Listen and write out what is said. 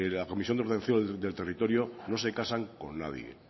la comisión de ordenación del territorio no se casan con nadie